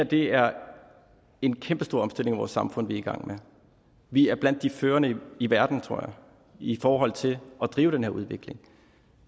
det er en kæmpestor omstilling af vores samfund vi er i gang med vi er blandt de førende i verden tror jeg i forhold til at drive den her udvikling